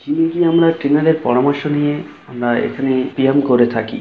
আমরা টিনারের পরামর্শ নিয়ে আমরা এখানে বিয়াম করে থাকি--